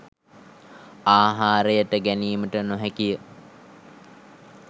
ආහාරයට ගැනීමට නො හැකි ය.